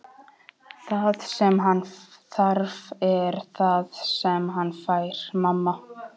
Það sem hann þarf er það sem hann fær, mamma.